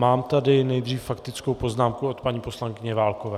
Mám tady nejdříve faktickou poznámku od paní poslankyně Válkové.